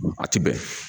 A ti bɛn